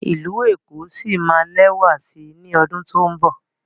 ilú ẹko sí má lẹwa sí ní ọdun to'n nbọ